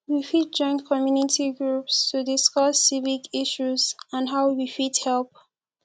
we fit join community groups to discuss civic issues and how we fit help